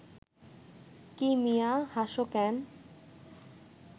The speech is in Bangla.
কী মিয়া, হাসো ক্যান